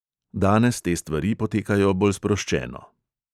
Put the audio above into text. Danes te stvari potekajo bolj sproščeno.